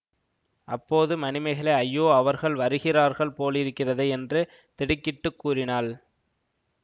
அப்போது மணிமேகலை ஐயோ அவர்கள் வருகிறார்கள் போலிருக்கிறதே என்று திடுக்கிட்டுக் கூறினாள்